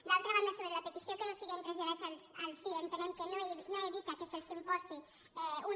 d’altra banda sobre la petició que no siguen traslladats als cie entenem que no evita que se’ls imposi un